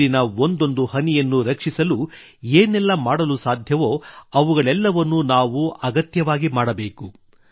ನೀರಿನ ಒಂದೊಂದು ಹನಿಯನ್ನೂ ರಕ್ಷಿಸಲು ಏನೆಲ್ಲ ಮಾಡಲು ಸಾಧ್ಯವೋ ಅವುಗಳೆಲ್ಲವನ್ನೂ ನಾವು ಅಗತ್ಯವಾಗಿ ಮಾಡಬೇಕು